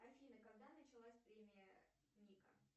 афина когда началась премия ника